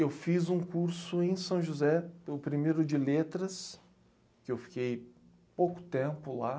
Eu fiz um curso em São José, o primeiro de letras, que eu fiquei pouco tempo lá.